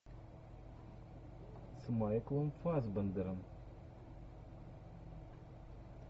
с майклом фассбендером